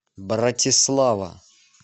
братислава